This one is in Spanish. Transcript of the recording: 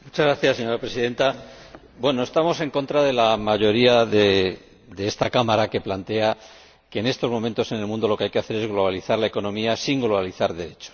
Señora Presidenta, estamos en contra de la mayoría de esta Cámara, que plantea que en estos momentos en el mundo lo que hay que hacer es globalizar la economía sin globalizar derechos.